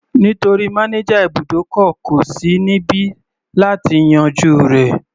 Nítorí manager ibùdókọ̀ kò sí níbi láti yanjú rẹ̀.